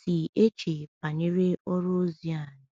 si eche banyere ọrụ ozi anyị. um